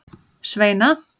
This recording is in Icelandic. Sveina